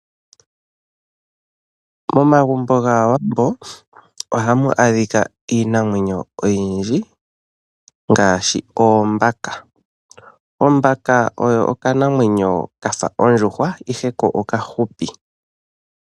Momagumbo gAawambo ohamu adhika iinamwenyo oyindji ngaashi oombaka. Ombaka oyo okanamwenyo kafa ondjuhwa ihe ko okahupi.